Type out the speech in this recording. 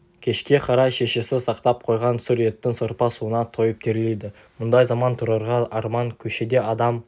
кешке қарай шешесі сақтап қойған сүр еттің сорпа-суына тойып терлейді мұндай заман тұрарға арман көшеде адам